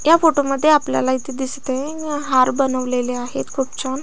या फोटोमध्ये आपल्याला इथ दिसतय हार बनवलेले आहेत खूप छान.